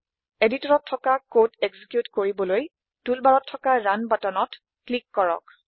এডিটৰতত থকা code execute কৰিবলৈ Toolbarত থকা ৰুণ বাটনত ক্লিক কৰক